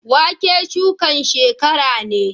Wake shukan shekara ne